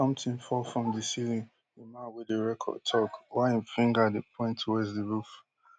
somtin fall from di ceiling di man wey dey record tok while im finger dey point towards di roof